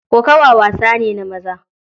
Kokawa wasa ne na maza.